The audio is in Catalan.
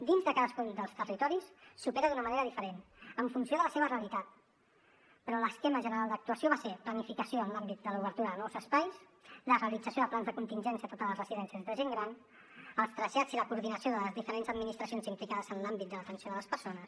dins de cadascun dels territoris s’opera d’una manera diferent en funció de la seva realitat però l’esquema general d’actuació va ser planificació en l’àmbit de l’obertura de nous espais la realització de plans de contingència a totes les residències de gent gran els trasllats i la coordinació de les diferents administracions implicades en l’àmbit de l’atenció de les persones